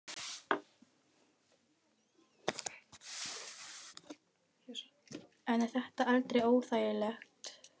En er þetta aldrei óþægilegt?